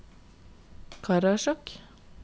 Karasjok